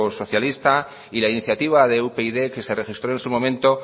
socialista y la iniciativa de upyd que se registró en su momento